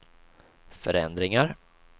förändringar